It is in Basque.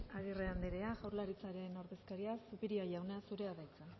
agirre andrea jaurlaritzaren ordezkaria zupiria jauna zurea da hitza